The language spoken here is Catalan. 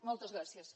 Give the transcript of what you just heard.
moltes gràcies